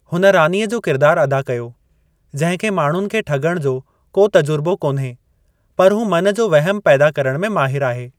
हुन रॉनीअ जो किरिदारु अदा कयो, जंहिं खे माण्हुनि खे ठॻण जो को तजुर्बो कोन्हे, पर हू मन जो वहिमु पैदा करण में माहिरु आहे।